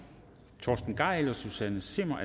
torsten gejl og susanne zimmer